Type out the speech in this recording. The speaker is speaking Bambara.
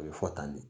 A bɛ fɔ tan de